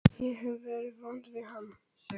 Ég hef verið vond við hann.